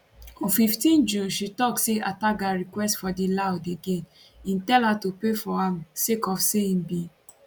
on 15 june she tok say ataga request for di loud again im tell her to pay for am sake of say im bin